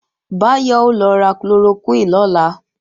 Báyọ̀ ó lọ ra chloroquine lọ́la